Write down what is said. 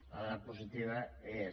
la dada positiva és